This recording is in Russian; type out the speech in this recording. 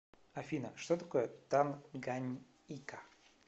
афина что такое танганьика